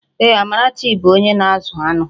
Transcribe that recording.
Ee, Amarachi bụ onye na-azụ aṅụ